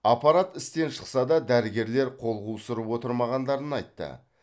аппарат істен шықса да дәрігерлер қол қусырып отырмағандарын айтты